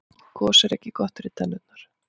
gos er ekki gott fyrir tennurnar